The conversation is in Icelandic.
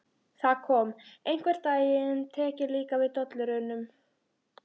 Það kom: Einhvern daginn tek ég líka við dollurunum.